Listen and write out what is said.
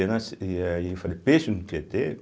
na se e aí eu falei, peixe no Tietê?